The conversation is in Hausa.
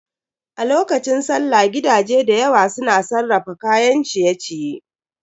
A lokacin sallah gidaje dayawa su na sarrafa kayan ciye-ciye.